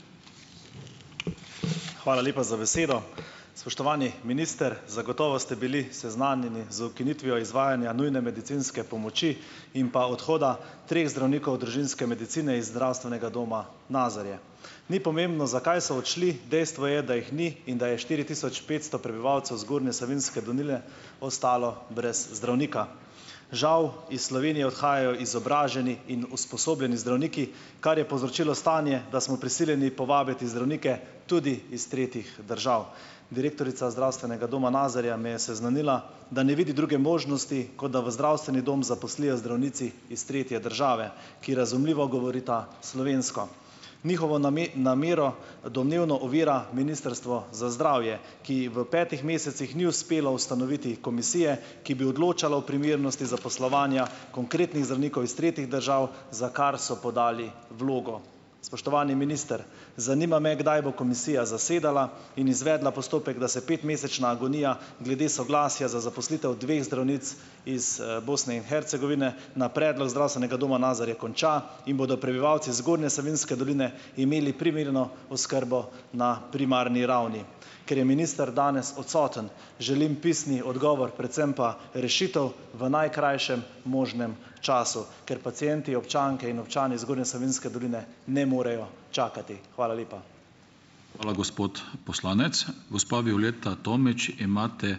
Hvala lepa za besedo. Spoštovani minister! Zagotovo ste bili seznanjeni z ukinitvijo izvajanja nujne medicinske pomoči in pa odhoda treh zdravnikov družinske medicine iz zdravstvenega doma Nazarje. Ni pomembno, zakaj so odšli, dejstvo je, da jih ni in da je štiri tisoč petsto prebivalcev zgornje Savinjske doline ostalo brez zdravnika. Žal, iz Slovenije odhajajo izobraženi in usposobljeni zdravniki, kar je povzročilo stanje, da smo prisiljeni povabiti zdravnike tudi iz tretjih držav. Direktorica Zdravstvenega doma Nazarje me je seznanila, da ne vidi druge možnosti, kot da v zdravstveni dom zaposlijo zdravnici iz tretje države, ki, razumljivo, govorita slovensko. Njihovo namero domnevno ovira Ministrstvo za zdravje, ki v petih mesecih ni uspelo ustanoviti komisije, ki bi odločala o primernosti zaposlovanja konkretnih zdravnikov iz tretjih držav, za kar so podali vlogo. Spoštovani minister, zanima me: Kdaj bo komisija zasedala in izvedla postopek, da se petmesečna agonija glede soglasja za zaposlitev dveh zdravnic iz, Bosne in Hercegovine na predlog Zdravstvenega doma Nazarje konča in bodo prebivalci zgornje Savinjske doline imeli primerno oskrbo na primarni ravni? Ker je minister danes odsoten, želim pisni odgovor, predvsem pa rešitev v najkrajšem možnem času, ker pacienti, občanke in občani zgornje Savinjske doline ne morejo čakati. Hvala lepa.